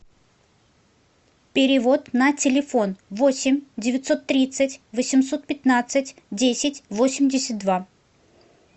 перевод на телефон восемь девятьсот тридцать восемьсот пятнадцать десять восемьдесят два